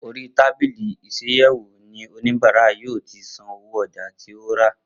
Orí tábìlì isàyèwò ni oníbàárà yóò tí san owó ọjà tí ó rà